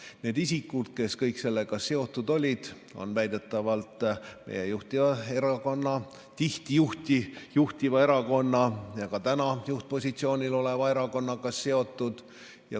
Kõik need isikud, kes sellega seotud olid, on väidetavalt seotud meie juhtiva erakonnaga või tihti juhtiva erakonna ja ka täna juhtpositsioonil oleva erakonnaga.